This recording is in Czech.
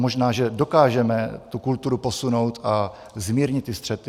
Možná že dokážeme tu kulturu posunout a zmírnit ty střety.